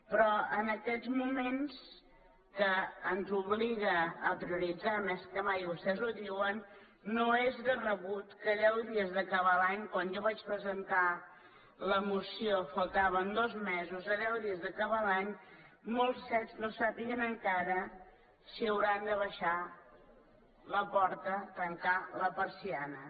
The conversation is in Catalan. però en aquests moments que ens obliguen a prioritzar més que mai i vostès ho diuen no és de rebut que a deu dies d’acabar l’any quan jo vaig presentar la moció faltaven dos mesos a deu dies d’acabar l’any molts cet no sàpiguen encara si hauran de tancar la porta abaixar la persiana